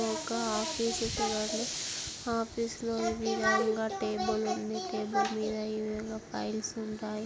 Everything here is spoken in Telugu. ఇదొక ఆఫీసు లా ఉంది ఆఫీస్ లో ఎదురుగా టేబుల్ ఉంది టేబుల్ మీద ఏవేవో ఫైల్స్ ఉంటాయ్.